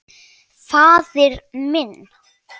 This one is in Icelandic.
Faðir minn.